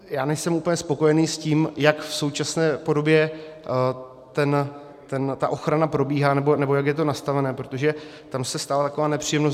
Já nejsem úplně spokojený s tím, jak v současné podobě ta ochrana probíhá nebo jak je to nastavené, protože tam se stala taková nepříjemnost.